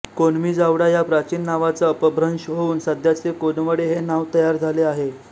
कोम्नीजावडा या प्राचीन नावाचा अपभ्रंश होऊन सध्याचे कोनवडे हे नाव तयार झाले असावे